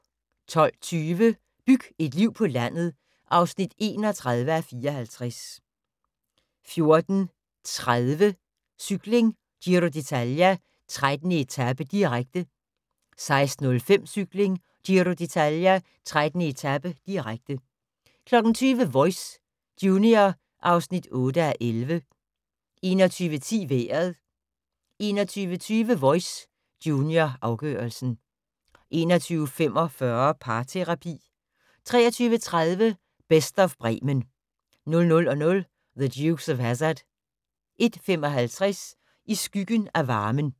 12:20: Byg et liv på landet (31:54) 14:30: Cykling: Giro d'Italia, 13. etape, direkte 16:05: Cykling: Giro d'Italia, 13. etape, direkte 20:00: Voice – junior (8:11) 21:10: Vejret 21:20: Voice – junior, afgørelsen 21:45: Parterapi 23:30: Best of Bremen 00:00: The Dukes of Hazzard 01:55: I skyggen af varmen